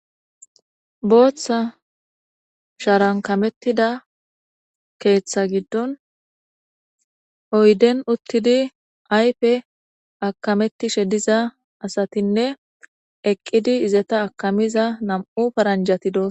Bootha sharan kamettida keetha giddon oyden uttidi ayfe akamettishe diza asatinne eqqidi izeta akamiza nam7u faranjati do'sona.